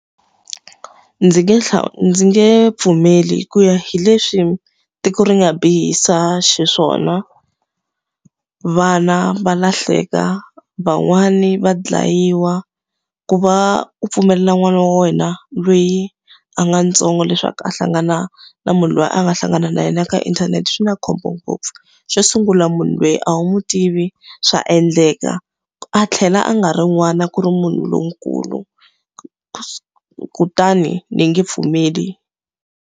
Ndzi nge ndzi nge pfumeli ku ya hi leswi tiko ri nga bihisa xiswona. Vana va lahleka, van'wani va dlayiwa. Ku va u pfumelela n'wana wa wena loyi a nga ntsongo leswaku a hlangana na munhu loyi a nga hlangana na yena ka inthanete swi na khombo ngopfu. Xo sungula munhu loyi a wu n'wi tivi, swa endleka a tlhela a nga ri n'wana ku ri munhu lonkulu. Kutani ni nge pfumeli.